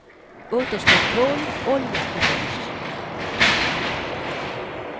Återstår kol, olja och gas.